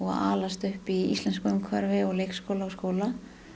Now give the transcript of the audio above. alast upp í íslensku umhverfi leikskóla og skóla